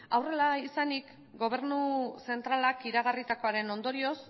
hau horrela izanik gobernu zentralak iragarritakoaren ondorioz